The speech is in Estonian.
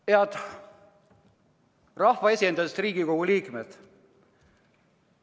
" Head rahvaesindajatest Riigikogu liikmed!